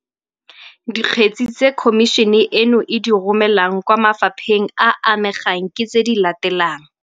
Dikgetse tse Khomišene eno e di romelang kwa mafa pheng a a amegang ke tse di latelang -